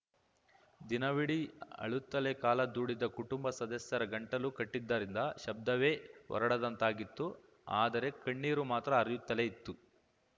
ದಿನವಿಡೀ ಅಳುತ್ತಲೇ ಕಾಲ ದೂಡಿದ್ದ ಕುಟುಂಬ ಸದಸ್ಯರ ಗಂಟಲು ಕಟ್ಟಿದ್ದರಿಂದ ಶಬ್ದವೇ ಹೊರಡದಂತಾಗಿತ್ತು ಆದರೆ ಕಣ್ಣೀರು ಮಾತ್ರ ಹರಿಯುತ್ತಲೇ ಇತ್ತು